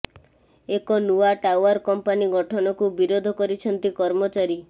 ଏକ ନୂଆ tower company ଗଠନକୁ ବିରୋଧ କରିଛନ୍ତି କର୍ମଚାରୀ